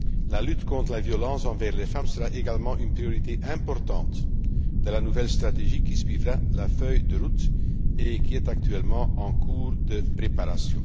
La lutte contre la violence envers les femmes sera également une priorité importante de la nouvelle stratégie qui suivra la feuille de route et qui est actuellement en cours de préparation.